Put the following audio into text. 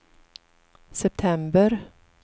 september